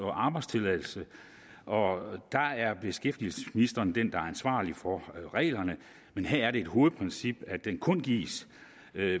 og arbejdstilladelse og der er beskæftigelsesministeren den der ansvarlig for reglerne men her er det et hovedprincip at den kun gives